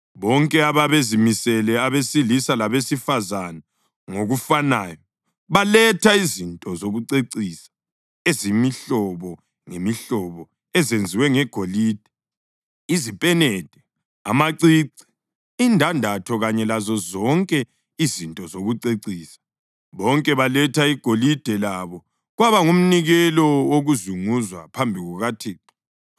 Bonke ababezimisele, abesilisa labesifazane ngokufanayo, baletha izinto zokucecisa ezemihlobo ngemihlobo ezenziwe ngegolide: izipenede, amacici, indandatho kanye lazozonke izinto zokucecisa. Bonke baletha igolide labo kwaba ngumnikelo wokuzunguzwa phambi kukaThixo.